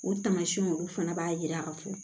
O tamasiyɛnw olu fana b'a yira ka fɔ